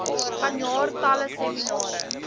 vanjaar talle seminare